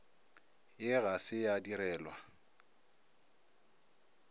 ye ga se ya direlwa